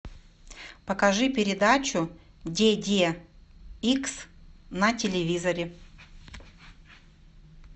покажи передачу де де икс на телевизоре